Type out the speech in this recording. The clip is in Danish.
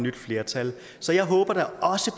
nyt flertal så jeg håber da også